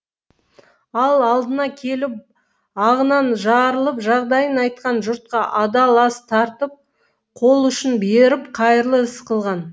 ал алдына келіп ағынан жарылып жағдайын айтқан жұртқа адал ас тартып қолұшын беріп қайырлы іс қылған